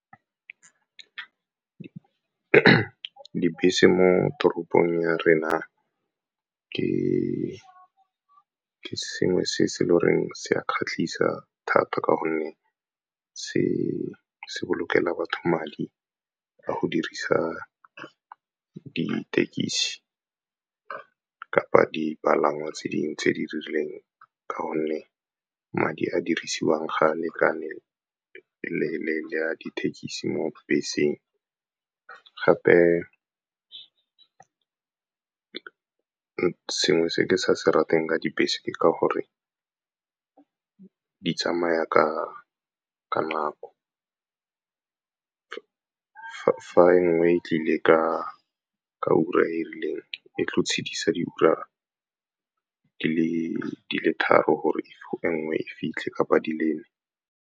Dibese mo toropong ya rena ke sengwe se se e le goreng se a kgatlhisa thata ka gonne se bolokelang batho madi ka go dirisa dithekisi kapa dipalangwa tse dingwe tse di rileng, ka gonne madi a dirisiwang ga a lekane le a dithekisi mo beseng. Gape sengwe se ke sa se ratang ka dibese ke ka gore di tsamaya ka nako, fa enngwe e tlile ka ura e rileng e tlo tshedisa di ura di le tharo gore e nngwe e fitlhe kapa di le nne.